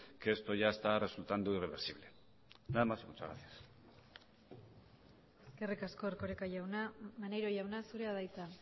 que esto ya está resultando irreversible nada más y muchas gracias eskerrik asko erkoreka jauna maneiro jauna zurea da hitza